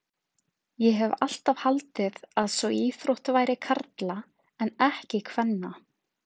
Ég hef alltaf haldið að sú íþrótt væri karla en ekki kvenna.